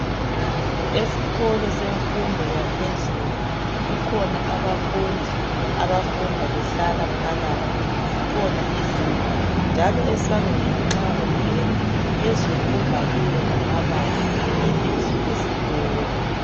Esikolo semfundo yaphezulu kukhona abafundi abafunda behlala phakathi ,zikhona izindlu njalo esangweni nxa ungena phezulu kubhaliwe ngamabala ibizo lesikolo.